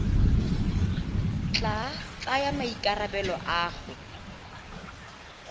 tla tsaya maikarabelo a go